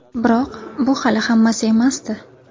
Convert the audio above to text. Biroq bu hali hammasi emasdi.